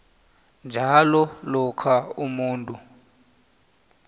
njalo lokha umuntu